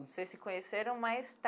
Vocês se conheceram mais